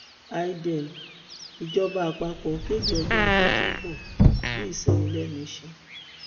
eidel ìjọba àpapọ kéde ọjọ ajé tó ń bọ bíi ìsinmi lẹnu iṣẹ